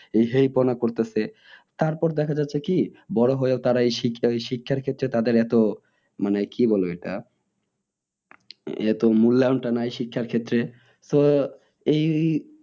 এই হেই পোনা করতিছে তারপর দেখা যাচ্ছে কি বড়ো হয়েও তারা এই শিক্ষার ক্ষেত্রে তাদের এত মানে কি বলবে এটা এত মূল্যায়নটা নেই শিক্ষার ক্ষেত্রে তো এই